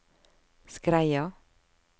Skreia